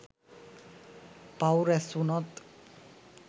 පව් රැස්වුනොත්